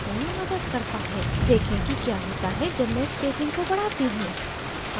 देखें कि क्या होता है जब मैं spacing को बढ़ाती हूँ